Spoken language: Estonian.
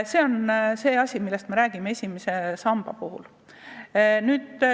See on asi, millest me räägime esimese samba puhul.